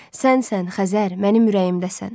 Sənsən Xəzər mənim ürəyimdəsən.